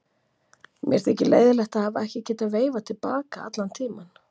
Mér þykir leiðinlegt að hafa ekki getað veifað til baka allan tímann.